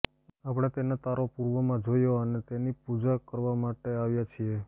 આપણે તેના તારો પૂર્વમાં જોયો અને તેની પૂજા કરવા માટે આવ્યા છીએ